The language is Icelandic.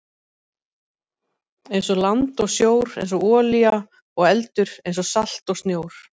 einsog land og sjór einsog olía og eldur einsog salt og snjór.